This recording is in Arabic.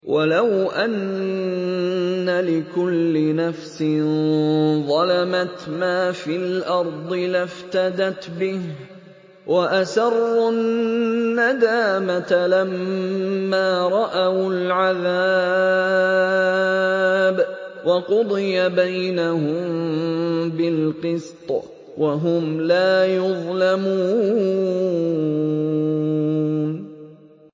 وَلَوْ أَنَّ لِكُلِّ نَفْسٍ ظَلَمَتْ مَا فِي الْأَرْضِ لَافْتَدَتْ بِهِ ۗ وَأَسَرُّوا النَّدَامَةَ لَمَّا رَأَوُا الْعَذَابَ ۖ وَقُضِيَ بَيْنَهُم بِالْقِسْطِ ۚ وَهُمْ لَا يُظْلَمُونَ